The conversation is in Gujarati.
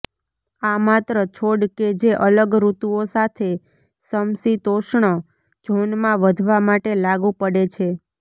આ માત્ર છોડ કે જે અલગ ઋતુઓ સાથે સમશીતોષ્ણ ઝોનમાં વધવા માટે લાગુ પડે છે